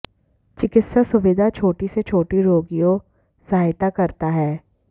चिकित्सा सुविधा छोटी से छोटी रोगियों सहायता करता है